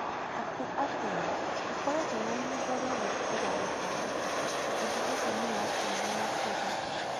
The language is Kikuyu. Atĩ atĩa! ndikoretwo na ihinda rĩa gũthikĩrĩria taariba. Ũndũ ũcio nĩ wa kĩeha makĩria.